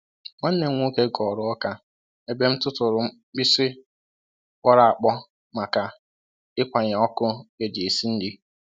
Nwanne m nwoke ghọrọ oka ebe m tụtụrụ mkpịsị kpọrọ akpọ maka ịkwanye ọkụ eji esi nri.